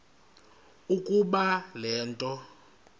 ukuba le nto